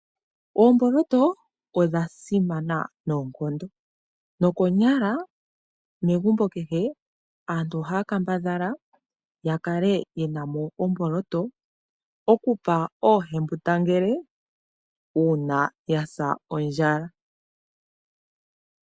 Oomboloto odha simana noonkondo, nokonyala megumbo kehe aantu ohaya kambadhala ya kale ye na mo omboloto oku pa oohembundangele uuna yasa ondjala.